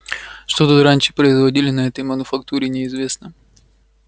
что тут раньше производили на этой мануфактуре неизвестно